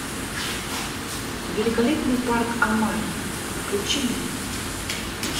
великолепный парк амаги включи мне